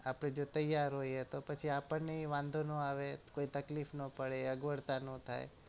આપડે જો તેયાર હોઈએ તો પછી આપણ ને એ વાધો ન આવે કોઈ તકલીફ ન પડે અગવડતા ન થાય